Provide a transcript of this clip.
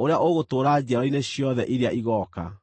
ũrĩa ũgũtũũra njiarwa-inĩ ciothe iria igooka.”